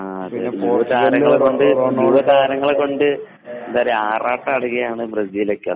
യുവതാരങ്ങളെകൊണ്ട് ആറാട്ടാണ് ബ്രസീലോക്കെ